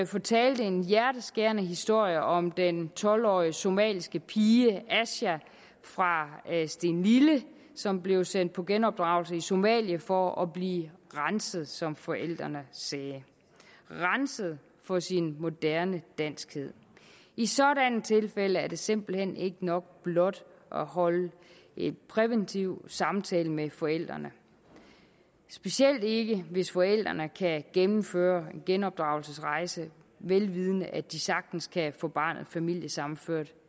fortalte en hjerteskærende historie om den tolv årige somaliske pige aisha fra stenlille som blev sendt på genopdragelse i somalia for at blive renset som forældrene sagde renset for sin moderne danskhed i sådanne tilfælde er det simpelt hen ikke nok blot at holde en præventiv samtale med forældrene specielt ikke hvis forældrene kan gennemføre en genopdragelsesrejse vel vidende at de sagtens kan få barnet familiesammenført